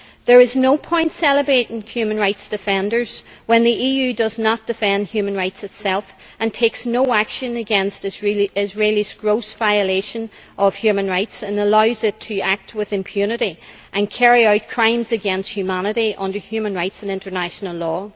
There is no point celebrating human rights defenders when the EU does not defend human rights itself and takes no action against Israel's gross violation of human rights and allows it to act with impunity and carry out crimes against humanity under human rights and international law.